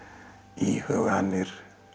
íhuganir